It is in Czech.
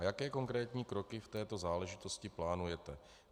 A jaké konkrétní kroky k této záležitosti plánujete?